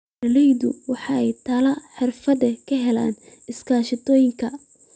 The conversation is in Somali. Beeraleydu waxay talo xirfadeed ka helaan iskaashatooyinka.